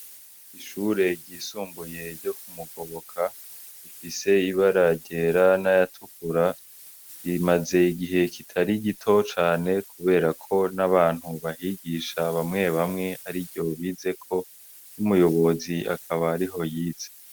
Ishure ryisumbuye ryo ku Mugoboka rifise ibara ryera naya tukura rimaze igihe kitari gito cane kuberako n'abantu bahigisha bamwe bamwe ariryo bizeko n'umuyobozi akaba ariho yize.